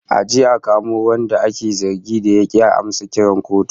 A je a kamo wanda ake zargin da ya ki ya amsa kiran kotu